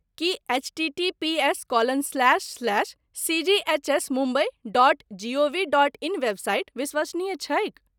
Ki HTTPS colon slash slash सीजीएचएसमुम्बई dot G O V dot in website विश्वसनीय छैक?